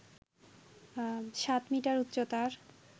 সাত মিটার উচ্চতার